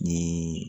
Ni